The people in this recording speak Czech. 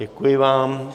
Děkuji vám.